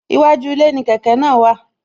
Iwájú ilé ni kẹ̀kẹ́ náà wà